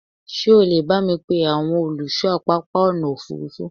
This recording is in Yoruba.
ṣé o lè bámi pe àwọn olùṣọ pápá ọ̀nà òfurufú?